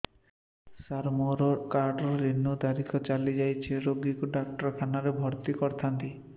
ସାର ମୋର card renew ତାରିଖ ଚାଲି ଯାଇଛି ରୋଗୀକୁ ଡାକ୍ତରଖାନା ରେ ଭର୍ତି କରିଥାନ୍ତି